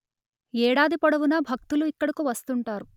ఏడాది పొడవునా భక్తులు ఇక్కడకు వస్తుంటారు